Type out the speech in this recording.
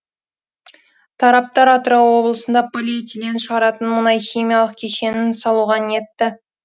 тараптар атырау облысында полиэтилен шығаратын мұнайхимиялық кешенін салуға ниетті